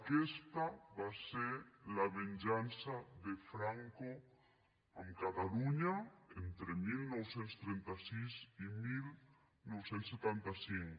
aquesta va ser la venjança de franco amb catalunya entre dinou trenta sis i dinou setanta cinc